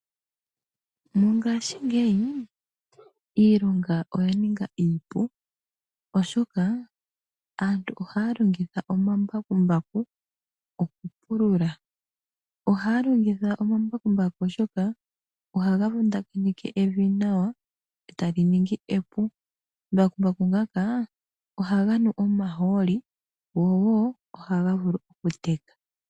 Mongashingeyi iilonga oya ninga iipu oshoka aantu ohaya longitha omambakumbaku okupulula. Ohaya longitha omambakumbaku oshoka ohaga vundakanitha evi nawa ee tali ningi epu omambakumbaku ngaka ohaga nu omahooli go noho ohaga vulu okuteka.